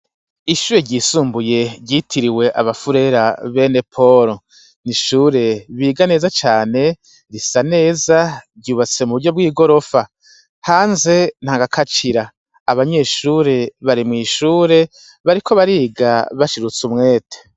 Ishure ryisumbuye ryitiriwe abafurera bene polo n ishure biga neza cane risa neza ryubatse mu buryo bw'i gorofa hanze nta gakacira abanyeshure bare mw'ishure bariko bariga bashirutse umwete.